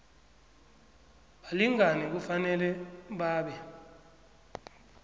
balingani kufanele babe